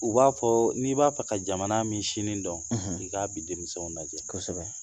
U b'a fɔ n'i b'a fɛ ka jamana min sini dɔn k'a bi denmisɛnw lajɛ, kosɛbɛ